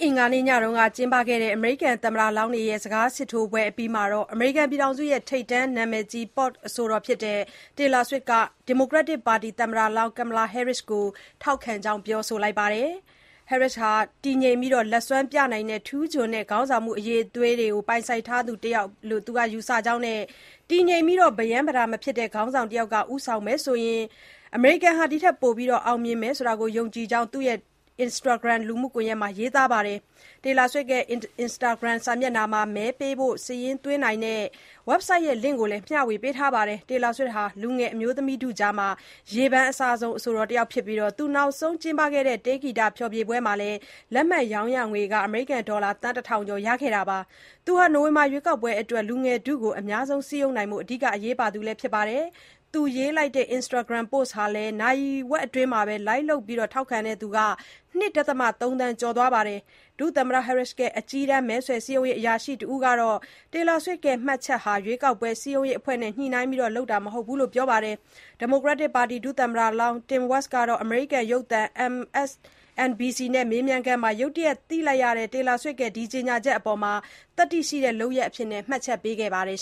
အင်္ဂါနေ့ညက လုပ်ခဲ့တဲ့ အမေရိကန်သမ္မတလောင်းတွေရဲ့ စကားစစ်ထိုးပွဲအပြီးမှာပဲ ဒီမိုကရက်တစ်ပါတီ သမ္မတလောင်း Kamala Harris ကို ထောက်ခံကြောင်း ပြောဆိုခဲ့ပါတယ်။ Harris ဟာ တည်ငြိမ်ပြီး လက်စွမ်းပြနိုင်တဲ့ ထူးချွန်တဲ့ ခေါင်းဆောင်မှုအရည်အသွေးတွေ ပိုင်ဆိုင်ထားသူ တယောက်လို့ ယူဆကြောင်း၊ တည်ငြိမ်ပြီး ပရမ်းပတာမဖြစ်တဲ့ ခေါင်းဆောင်တယောက်က ဦးဆောင်မယ်ဆိုရင် တိုင်းပြည်ဟာ ဒီထက်ပိုပြီး အောင်မြင်နိုင်မယ်လို့ ယုံကြည်ကြောင်း သူ့ရဲ့ Instagramလူမှုကွန်ရက်မှာ ရေးသားထားပါတယ်။ သူ့ရဲ့ Instagram စာမျက်နှာမှာ မဲပေးဖို့စာရင်းသွင်းနိုင်တဲ့ Website ရဲ့ Link ကိုပါ မျှဝေထားတာပါ။ Taylor Swift ဟာ လူငယ်အမျိုးသမီးထုကြားမှာ ရေပန်းအစားဆုံးသူတယောက်ဖြစ်ပြီး၊ သူနောက်ဆုံးလုပ်ခဲ့တဲ့ တေးဂီတဖျော်ဖြေပွဲမှာ လက်မှတ်ရောင်းရငွေ ဒေါ်လာသန်း ၁ ထောင်ကျော် ရခဲ့တာပါ။ သူဟာ နိုဝင်ဘာ ရွေးကောက်ပွဲအတွက် လူငယ်ထုကို အများဆုံးစည်းရုံးနိုင်ဖို့ အဓိက အရေးပါတဲ့ သူလည်း ဖြစ်ပါတယ်။ သူရေးလိုက်တဲ့ Instagram ပို့စ်ဟာလည်း နာရီဝက်အတွင်းမှာ Like လုပ်ပြီး ထောက်ခံတဲ့သူ ၂.၃ သန်းကျော်သွားခဲ့ပါတယ်။ ဒုသမ္မတ Harris ရဲ့ အကြီးတန်း မဲဆွယ်စည်းရုံးရေး အရာရှိတဦးကတော့ Taylor Swift ရဲ့ မှတ်ချက်ဟာ ရွေးကောက်ပွဲစည်းရုံးရေးအဖွဲ့နဲ့ ညှိနှိုင်းပြီး လုပ်တာမဟုတ်ဘူးလို့ ပြောပါတယ်။ ဒီမိုကရက်တစ်ပါတီ ဒုသမ္မတလောင်း Tim Walz ကတော့ အမေရိကန်ရုပ်သံ MSNBC နဲ့ မေးမြန်းခန်းအတွင်း ရုတ်တရက် သိလိုက်ရတဲ့ Taylor Swift ရဲ့ ကြေညာချက်အပေါ် သတ္တိရှိတဲ့ လုပ်ရပ်အဖြစ် မှတ်ချက်ပေးခဲ့ပါတယ်